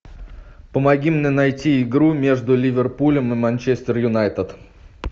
помоги мне найти игру между ливерпулем и манчестер юнайтед